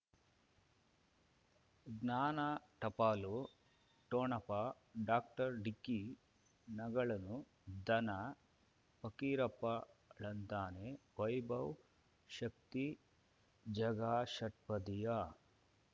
ಜ್ಞಾನ ಟಪಾಲು ಠೊಣಪ ಡಾಕ್ಟರ್ ಢಿಕ್ಕಿ ಣಗಳನು ಧನ ಫಕೀರಪ್ಪ ಳಂತಾನೆ ವೈಭವ್ ಶಕ್ತಿ ಝಗಾ ಷಟ್ಪದಿಯ